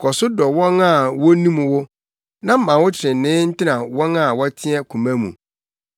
Kɔ so dɔ wɔn a wonim wo, ma wo trenee ntena wɔn a wɔteɛ, koma mu.